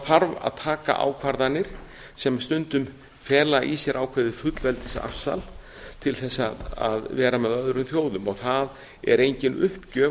þarf að taka ákvarðanir sem stundum fela í sér ákveðið fullveldisafsal til þess að vera með öðrum þjóðum það er engin uppgjöf